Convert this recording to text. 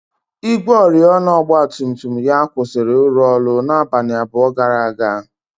ígwè oriọna ọgba tum tum ya kwụsịrị ịrụ ọrụ abalị abụọ gara aga.